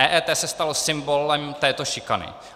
EET se stalo symbolem této šikany.